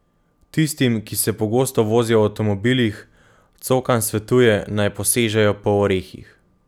Tistim, ki se pogosto vozijo v avtomobilih, Cokan svetuje, naj posežejo po orehih.